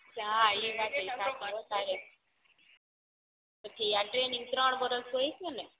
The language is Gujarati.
પછી આ ટ્રેનિંગ ત્રણ વરસ હોય છે ને